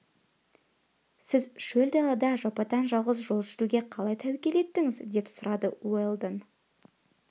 сіз шөл далада жападан-жалғыз жол жүруге қалай тәуекел еттіңіз деп сұрады уэлдон